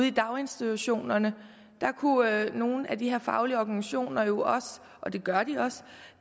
i daginstitutionerne der kunne nogle af de her faglige organisationer jo også og det gør de også